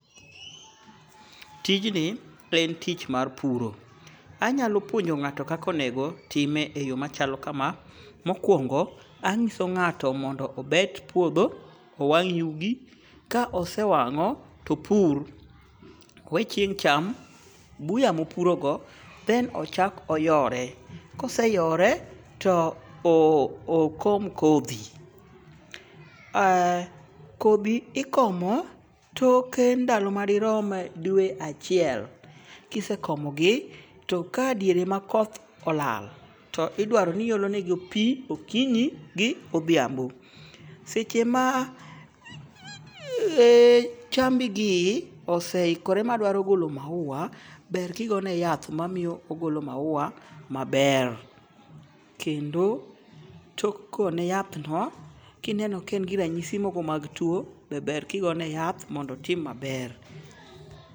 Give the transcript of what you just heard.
Tijni en tich mar puro. Anyalo puonjo ng'ato kaka onego time e yo machalo kama. Mokwongo, anyiso ng'ato mondo obet puodho, owang' yugi. Ka osewang'o to opur. Owe chieng' cham. Buya mopuro go then ochak oyore. Ka ose yore to okom kodhi. Kodhi ikomo toke ndalo ma dirom dwe achiel kisekomogi. To ka diere ma koth olala, to idwaro ni iolonegi pi okinyi gi odhiambo. Seche ma chambi gi ose ikore madwaro golo maua ber ki go ne gi yath mamiyo ogolo maua maber. Kendo tok go ne yath no, kineno ka en gi ranyiso moko mag tuo be ber kigonegi yath mondo otim maber.